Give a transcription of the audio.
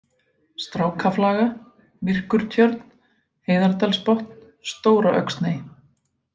Strákaflaga, Myrkurtjörn, Heiðardalsbotn, Stóra-Öxney